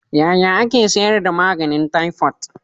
yaya ake sayar da maganin taifot